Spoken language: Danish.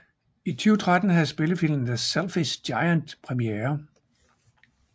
I 2013 havde spillefilmen The Selfish Giant premiere